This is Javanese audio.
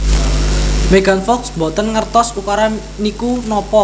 Megan Fox mboten ngertos ukara niku napa